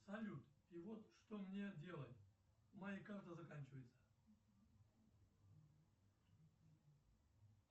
салют и вот что мне делать моя карта заканчивается